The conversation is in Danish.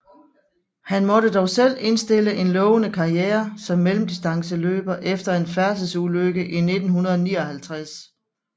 Han måtte dog selv indstille en lovende karriere som mellemdistanceløber efter en færdselsulykke i 1959